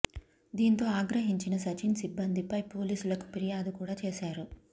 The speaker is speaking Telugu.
దీంతో ఆగ్రహించిన సచిన్ సిబ్బంది పై పోలీసులకు పిర్యాదు కూడా చేశారు